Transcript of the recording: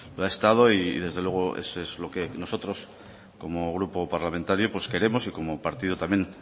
lo ha estado y desde luego eso es lo que nosotros como grupo parlamentario pues queremos y como partido también